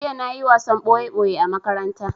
Jiya na yi wasan ɓoye ɓoye a makaranta